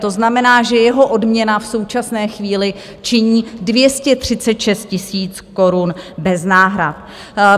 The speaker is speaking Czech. To znamená, že jeho odměna v současné chvíli činí 236 000 korun bez náhrad.